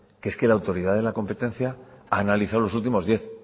que es que la autoridad de la competencia ha analizado los últimos diez